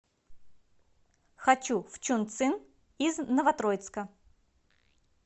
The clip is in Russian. хочу в чунцин из новотроицка